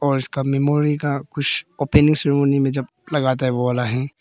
और इसका मेमोरी का कुछ ओपनिंग सेरेमनी में जब लगता है वो वाला है।